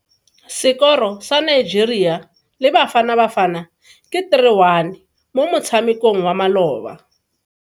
Sekoro sa Nigeria le Bafanabafana ke 3-1 mo motshamekong wa maloba.